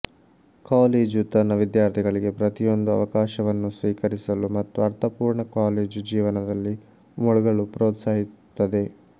college ತನ್ನ ವಿದ್ಯಾರ್ಥಿಗಳಿಗೆ ಪ್ರತಿಯೊಂದು ಅವಕಾಶವನ್ನೂ ಸ್ವೀಕರಿಸಲು ಮತ್ತು ಅರ್ಥಪೂರ್ಣ ಕಾಲೇಜು ಜೀವನದಲ್ಲಿ ಮುಳುಗಲು ಪ್ರೋತ್ಸಾಹಿಸುತ್ತದೆ